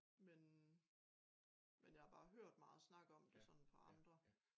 Men men jeg har bare hørt meget snak om det sådan fra andre